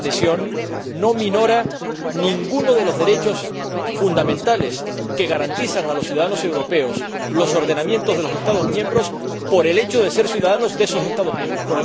Esa adhesión no minora ninguno de los derechos fundamentales que garantizan a los ciudadanos europeos los ordenamientos de los Estados miembros por el hecho de ser ciudadanos de esos Estados miembros.